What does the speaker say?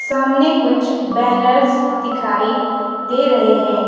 सामने कुछ बैनर्स दिखाई दे रहे हैं।